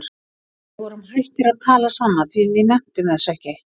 Við vorum hættir að tala saman því við nenntum þessu ekki.